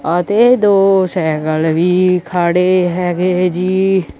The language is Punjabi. ਅਤੇ ਦੋ ਸੈਕਲ ਵੀ ਖੜੇ ਹੈਗੇ ਜੀ।